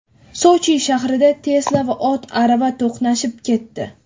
Sochi shahrida Tesla va ot-arava to‘qnashib ketdi.